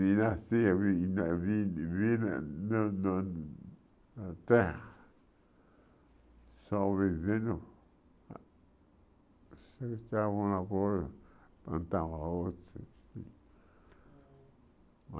de nascer, vir na vir vir na na na terra, só vivendo.